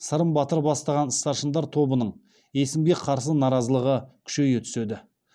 сырым батыр бастаған старшындар тобының есімге қарсы наразылығы күшейе түседі